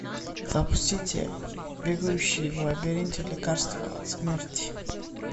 запустите бегающие в лабиринте лекарство от смерти